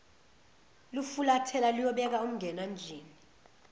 lufulathela luyobeka umngenandlini